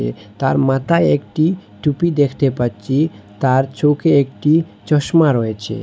তার মাতায় একটি টুপি দেখতে পাচ্ছি তার চোখে একটি চশমা রয়েছে।